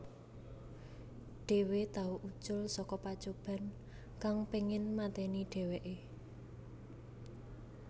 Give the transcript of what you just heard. Dhewe tau ucul saka pacoban kang pengin mateni dheweke